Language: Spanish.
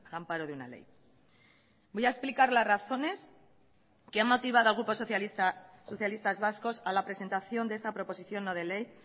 amparo de una ley voy a explicar las razones que han motivado al grupo socialistas vascos a la presentación de esta proposición no de ley